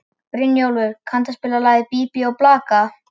Brynjólfur, kanntu að spila lagið „Bí bí og blaka“?